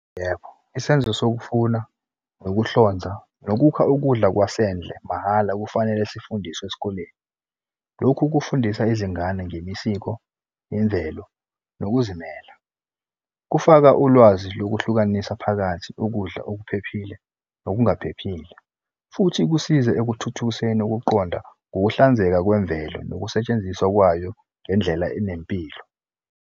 Yebo, isenzo sokufuna, nokuhlonza, nokukha ukudla kwasendle mahhala kufanele sifundiswe esikoleni. Lokhu kufundisa izingane ngemisiko, imvelo, nokuzimela. Kufaka ulwazi lokuhlukanisa phakathi ukudla okuphephile nokungaphephile, futhi kusize ekuthuthukiseni ukuqonda ngokuhlanzeka kwemvelo nokusetshenziswa kwayo ngendlela enempilo.